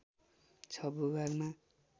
६ भूभागमा